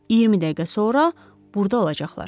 20 dəqiqə sonra burda olacaqlar.